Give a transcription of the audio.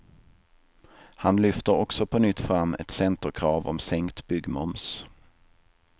Han lyfter också på nytt fram ett centerkrav om sänkt byggmoms.